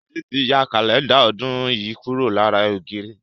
Sade tí ya Kálẹ́ndà ọdún yìí kúrò lára ògiri